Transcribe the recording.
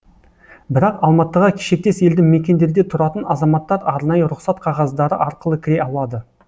бірақ алматыға шектес елді мекендерде тұратын азаматтар арнайы рұқсат қағаздары арқылы кіре алады